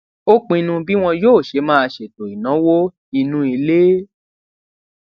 ó pinnu bí wón yóò ṣe máa ṣètò ìnáwó inú ilé